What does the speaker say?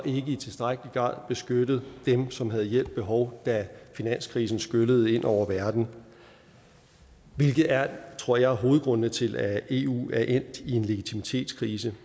i tilstrækkelig grad beskyttet dem som havde hjælp behov da finanskrisen skyllede ind over verden hvilket er tror jeg hovedgrundene til at eu er endt i en legitimitetskrise